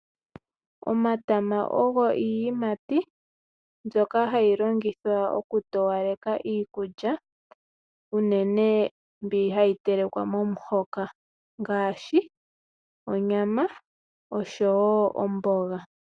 Omatama ogo iiyimati mbyoka hayi longithwa okutowaleka iikulya unene mbi hayi telekwa momuhoka ngaashi onyama oshowo omboga.